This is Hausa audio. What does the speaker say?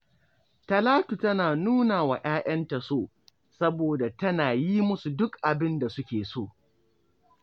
Talatu tana nuna wa ‘ya’yanta so, saboda tana yi musu duk abin da suke so